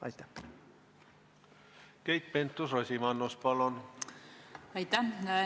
Keit Pentus-Rosimannus, palun!